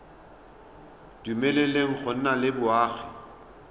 dumeleleng go nna le boagi